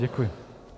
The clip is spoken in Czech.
Děkuji.